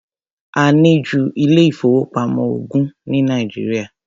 A ní ju ilé-ìfowópamọ́ ogún ní Nàìjíríà.